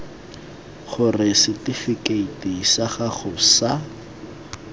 gore setifikeiti sa gago sa